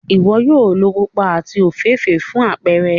Iwọ yoo lo pupa ati ofeefee fun apẹrẹ.